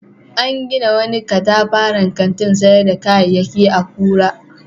An gina wani katafaren kantin sayar da kayayyaki a Kura.